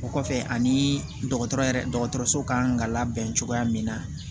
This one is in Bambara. O kɔfɛ aniii dɔgɔtɔrɔ yɛrɛ dɔgɔtɔrɔso kan ka labɛn cogoya min na